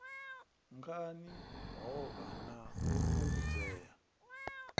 ngani hovha na u fhungudzea